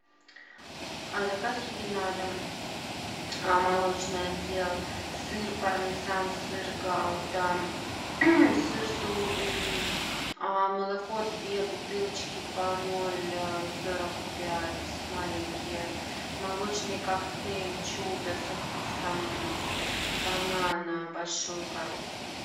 заказ еды на дом молочный отдел сыр пармезан сыр гауда сыр сулугуни молоко две бутылочки по ноль сорок пять маленькие молочный коктейль чудо со вкусом банана большую коробку